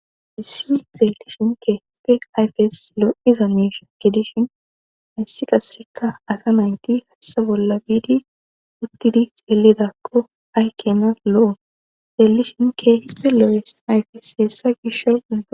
adissi xeelishinke peq ayfes loo iza meisha ke dishin hayssi qaseka asa nayti hassa bolla biidi uttidi xeelidakko aykena lo7o zeelishinke hiddeloo7es ayfes yeessa gisho